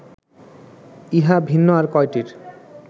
ইহা ভিন্ন আর কয়টির